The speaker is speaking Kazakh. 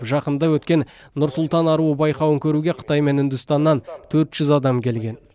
жақында өткен нұр сұлтан аруы байқауын көруге қытай мен үндістаннан төрт жүз адам келген